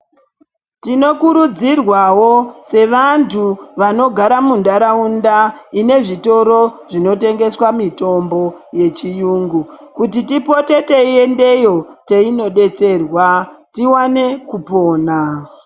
Tinokurudzirwawo sevantu vanogara mundaraunda inezvitoro zvinotengewa mitombo yechiyungu kuti tipote teiyendeyo teinodetserwa tiwane kupona.